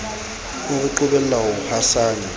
o re qobella ho hasanya